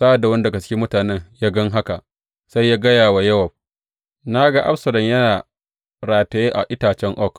Sa’ad da wani daga cikin mutanen ya gan haka, sai ya gaya wa Yowab, Na ga Absalom yana rataye a itacen oak.